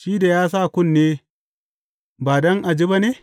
Shi da ya sa kunne ba don a ji ba ne?